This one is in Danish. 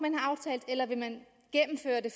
eller vil man gennemføre det